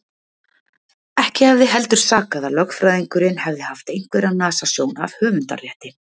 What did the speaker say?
Ekki hefði heldur sakað að lögfræðingurinn hefði haft einhverja nasasjón af höfundarrétti.